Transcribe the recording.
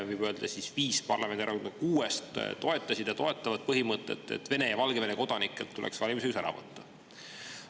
Võib öelda, et viis parlamendierakonda kuuest toetasid ja toetavad põhimõtet, et Vene ja Valgevene kodanikelt tuleks valimisõigus ära võtta.